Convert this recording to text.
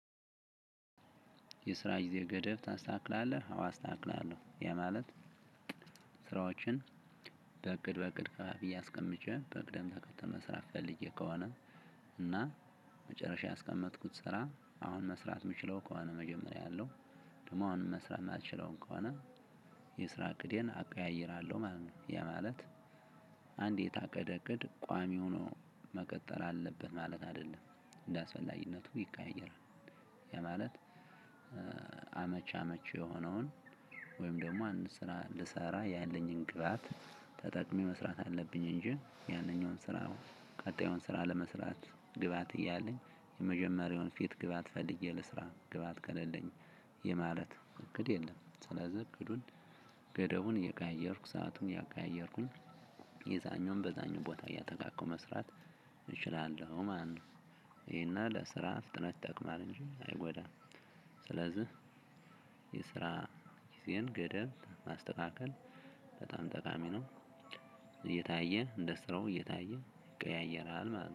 የስራ ጊዜ ገደብ ታስተካክላለህ? አዎ አስተካክላለሁ ያ ማለት ስራዎችን በእቅድ በእቅድ ከፋፍዬ አስቀምጬ በቅደም ተከተል መስራት ፈልጌ ከሆነ እና መጨረሻ ያስቀመጥኩት ስራ አሁን መስራት የምችለው ከሆነ መጀመሪያ አያለው ደግሞ አሁን መስራት ማልችለው ከሆነ የስራ እቅዴን አቀያይራለሁ ማለት ነው። ያማለት አንዴ የታቀደ እቅድ ቋሚ ሆኖ መቀጠል አለብህ ማለት አይደለም እንዳስፈላጊነቱ ይካሄዳል። ያማለት አመቺ አመቺ የሆነውን ወይም ደግሞ አንድ ስራ እንድሰራ ያለኝን ግብአት ተጠቅሜ መስራት አለብኝ። እንጂ ያንኛውን ስራ ቀጣዩን ስራ ለመስራት ግብአት እያለኝ የመጀመሪያውን ፊት ግብአት ፈልጌ ልስራ ግብአት ከሌለኝ ይህ ማለት እቅድ የለም። ስለዚህ እቅዱን ገደቡን እየቀያየርኩ ሰአቱን እያቀየርኩኝ የዛኛውን በዛኛው ቦታ እያጠጋጋሁ መስራት እችላለሁ ማለት ነው። ይሄና ለስራ ፍጥነት ይጠቅማል እንጂ አይጎዳም። ስለዚህ የስራ ጊዜን ገደብ ማስተካከል በጣም ጠቃሚ ነው እየታየ እንደ ስራው እየታየ ይቀያየራል